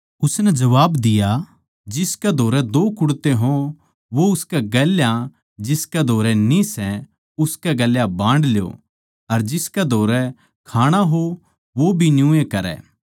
उसनै जबाब दिया जिसकै धोरै दो कुडते हों वो उसकै गेल्या जिसकै धोरै न्ही सै उसकै गेल बांड ल्यो अर जिसकै धोरै खाणा हो वो भी न्यूए करै